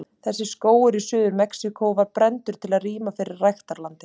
Þessi skógur í Suður-Mexíkó var brenndur til að rýma fyrir ræktarlandi.